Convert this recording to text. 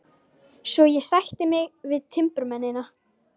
Svo ég sætti mig við timburmennina.